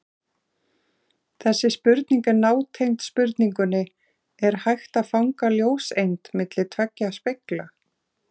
Þessi spurning er nátengd spurningunni Er hægt að fanga ljóseind milli tveggja spegla?